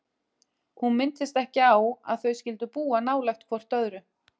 Hún minntist ekki á að þau skyldu búa nálægt hvort öðru.